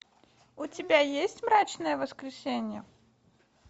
у тебя есть мрачное воскресенье